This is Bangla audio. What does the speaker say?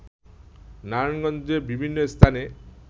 নারায়ণগঞ্জে বিভিন্ন স্থানে